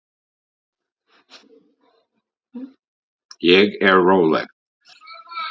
Ég er róleg.